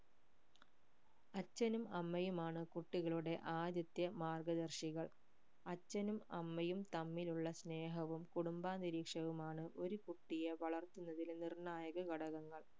അച്ഛനും അമ്മയുമാണ് കുട്ടികളുടെ ആദ്യത്തെ മാർഗധർഷികൾ അച്ഛനും അമ്മയും തമ്മിലുള്ള സ്നേഹവും കുടുംബാന്തരീക്ഷവുമാണ് ഒരു കുട്ടിയെ വളർത്തുന്നതില് നിർണ്ണായക ഘടകങ്ങൾ